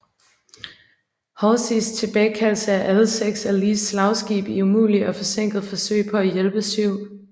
Halseys tilbagekaldelse af alle seks af Lees slagskibe i umulige og forsinkede forsøg på at hjælpe 7